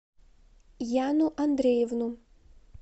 яну андреевну